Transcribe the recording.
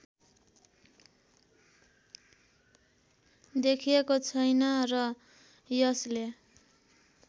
देखिएको छैन र यसले